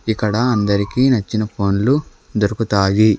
ఇక్కడ అందరికీ నచ్చిన ఫోన్లు దొరుకుతాయి.